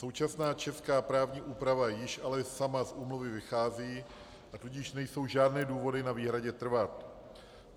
Současná česká právní úprava již ale sama z úmluvy vychází, a tudíž nejsou žádné důvody na výhradě trvat.